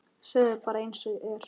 Segðu bara einsog er.